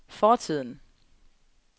fortiden